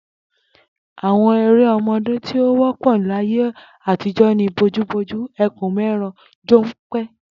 Àwo̩n eré o̩mo̩dé tí ó wó̩pò̩ láyé àtijó̩ ni bojúbojú, e̩kùn-mé̩ran, jó̩npe̩